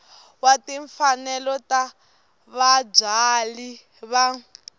wa timfanelo ta vabyali va